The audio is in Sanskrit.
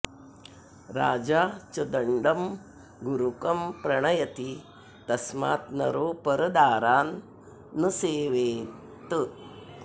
राजा च दण्डं गुरुकं प्रणयति तस्मात् नरो परदारान् न सेवेत्